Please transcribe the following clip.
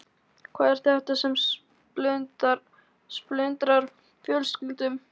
Hvað er þetta sem splundrar fjölskyldum?